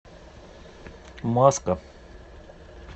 маска